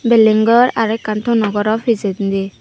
building ghor aro ekkan tono gharo pejedi ye.